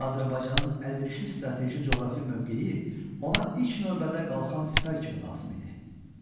Azərbaycanın əlverişli strateji coğrafi mövqeyi ona ilk növbədə qalxan sipər kimi lazım idi.